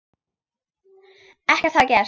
Ekkert hafi gerst.